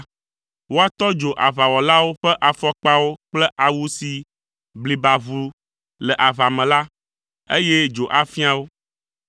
Woatɔ dzo aʋawɔlawo ƒe afɔkpawo kple awu si bliba ʋu le aʋa me la, eye dzo afia wo,